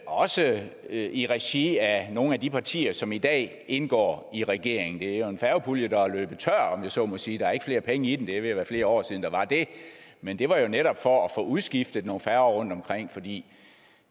også i regi af nogle af de partier som i dag indgår i regeringen det er jo en færgepulje der er løbet tør om jeg så må sige der er ikke flere penge i den og det er ved at være flere år siden der var det men det var netop for at få udskiftet nogle færger rundtomkring fordi